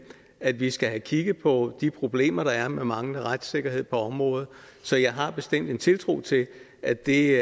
at vi skal have kigget på de problemer der er med manglende retssikkerhed på området så jeg har bestemt en tiltro til at det